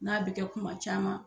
N'a bɛ kɛ kuma caman